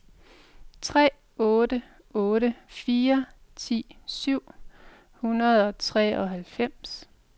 tre otte otte fire ti syv hundrede og treoghalvfems